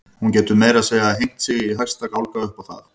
Hún getur meira að segja hengt sig í hæsta gálga upp á það.